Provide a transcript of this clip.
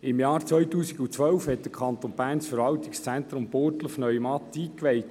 Im Jahr 2012 hat der Kanton Bern das Verwaltungszentrum Burgdorf-Neumatt eingeweiht.